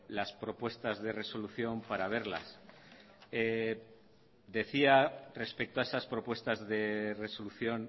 las propuestas de resolución para verlas decía respecto a esas propuestas de resolución